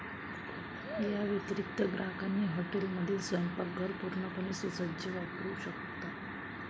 याव्यतिरिक्त, ग्राहकांनी हॉटेलमधील स्वयंपाकघर, पूर्णपणे सुसज्ज वापरू शकता.